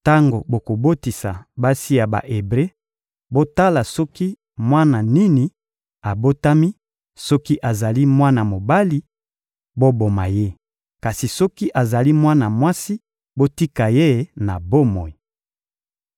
«Tango bokobotisa basi ya Ba-Ebre, botala soki mwana nini abotami; soki azali mwana mobali, boboma ye; kasi soki azali mwana mwasi, botika ye na bomoi.»